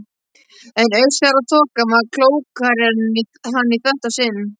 En Austfjarðaþokan var klókari en hann í þetta sinn.